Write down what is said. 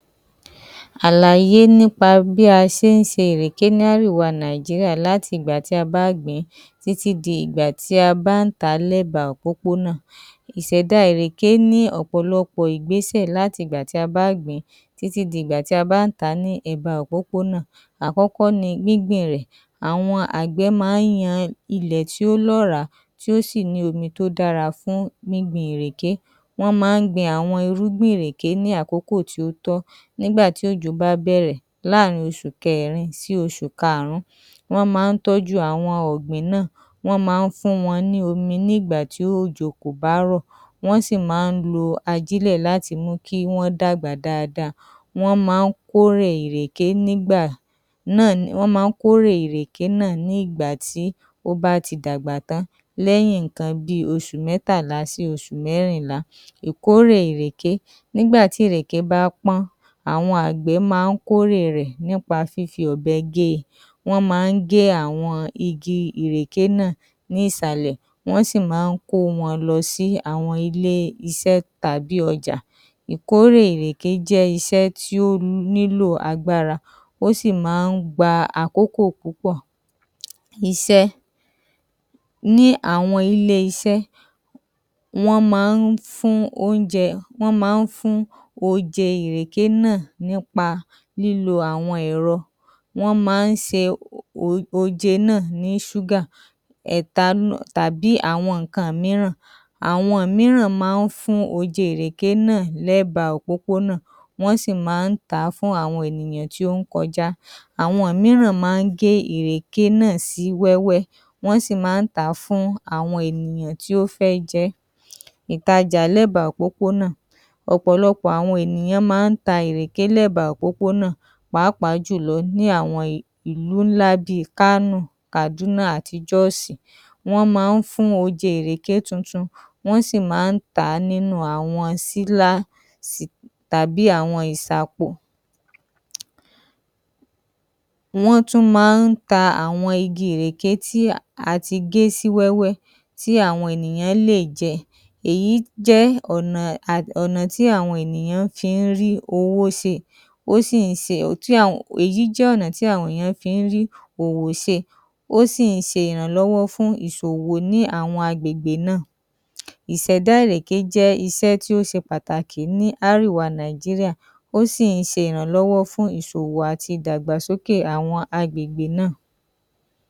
Àlàyé nípa bí a se ń se ìrèké ní árìwa Nàíjíríà láti ìgbà tí a bá gbìn-ín títí di ìgbà tí a bá ń tà á lẹ́ba òpópónà. Ìsẹ̀da ìrèké ní ọ̀pọ̀lọpọ̀ ìgbésè láti ìgbà tí a bá gbìn-ín títí di ìgbà tí a bá ń tà á ní ẹ̀ba òpópónà. Àkókó ni gbíngbin rẹ̀. Àwọn àgbẹ̀ máá ń yan ilẹ̀ tí ó lọ́ọ̀rá, tí ó sì ní omi tí ó dára fún gbíngbin ìrèké. Wọ́n máá ń gbin àwọn irúgbìn ìrèké ní àkókò tí ó tọ́ nígbà tí òjò bá bẹ̀rẹ̀ láàrin oṣù kẹrin sí oṣù kaàrún. Wọ́n máa ń tọ́jú àwọn ọ̀gbìn náà, wọ́n máa ń fún wọn ní omi nígbà tí òjò kò bá rọ̀, wọ́n sì máá ń lo ajílẹ̀ láti mú kí wọ́n dàgbà dáadáa. Wọ́n máá ń kórè ìrèké nígbà náà wọ́n máá ń kórè ìrèké náà ní ìgbà tí ó bá ti dàgbà tán lẹ́yìn ǹǹkan bí i oṣù mẹ́tàlá sí oṣù mẹ́rìnlá. Ìkórè ìrèké: Nígbà tí ìrèké bá pọ́n, àwọn àgbẹ̀ máá ń kóre rẹ̀ nípa fífi ọ̀bẹ gẹ́ ẹ. Wọ́n máá ń gẹ́ àwọn igi ìrèké náà ní ìsàlẹ̀, wọ́n sì máá ń kó wọn lọ sí àwọn ilé isẹ́ tàbí ọjà. Ìkórè ìrèké jẹ́ isẹ́ tí ó nílò agbára, ó sì máá ń gba àkókò púpọ̀. Isẹ́: Ní àwọn ilé isẹ́, wọ́n máá ń fún óúnjẹ, wọ́n máá ń fún oje ìrèké náà nípa lílo àwọn ẹ̀rọ. Wọ́n máá ń se oje náà ní ṣúgà, ẹ̀ta tàbí àwọn ǹǹkan mìíràn. Àwọn mìíràn máá ń fún oje ìrèké náà lẹ́ba òpópónà, wọ́n sì máá ń tà á fún àwọn ènìyàn tí ó ń kọjá. Àwọn mìíràn máá ń gé ìrèké náà sí wẹ́wẹ́, wọ́n sì máá ń tà á fún àwọn ènìyàn tí ó fẹ́ jẹ ẹ́. Ìtajà lẹ́ba òpópónà: Ọ̀pọ̀lọpọ̀ àwọn ènìyàn máá ń ta ìrèké lẹ́ba òpópónà pàápàá jùlọ ní àwọn ìlú ńlá bí i Kánò, Kàdúná àti Jóòsì. Wọ́n máá ń fún oje ìrèké tuntun, wọ́n sì máá ń tà á nínú àwọn sílá tàbí àwọn ìsàpò. Wọ́n tún máá ń ta àwọn igi ìrèké tí a ti gé sí wẹ́wẹ́ tí àwọn ènìyán lè jẹ. Èyí jẹ́ ọ̀nà ọ̀nà tí àwọn ènìyán fi ń rí owó se, ó sì ń se, èyí jẹ́ ọ̀nà tí àwọn èèyàn fi ń rí òwò se. Ó sì ń se ìrànlọ́wọ́ fún ìsòwò ní àwọn agbègbè náà. Ìsèdá ìrèké jẹ́ isẹ́ tí ó se pàtàkì ní árìwa Nàíjíríà, ó sì ń se ìrànlọ́wọ́ fún ìsòwò àti ìdàgbàsókè àwọn agbègbè náà.